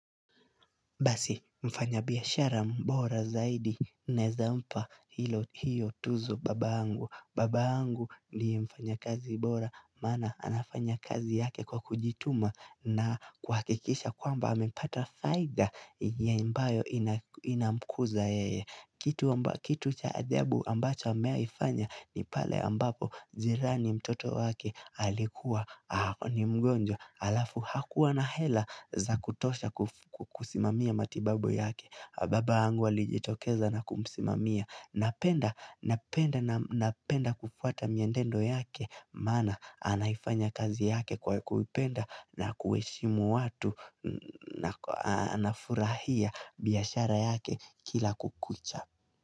Basi mfanya biashara mbora zaidi naeza mpa hilo hiyo tuzo babangu babangu ni mfanyakazi bora maana anafanya kazi yake kwa kujituma na kuhakikisha kwamba amepata faida yenye ambayo ina mkuza yeye Kitu cha ajabu ambacho amewahifanya ni pale ambapo jirani mtoto wake alikuwa ni mgonjwa Alafu hakuwa na hela za kutosha kusimamia matibabu yake Baba yangu alijitokeza na kumsimamia Napenda kufuata miendendo yake Maana anaifanya kazi yake kwa kuipenda na kuheshimu watu na furahia biashara yake kila kukucha.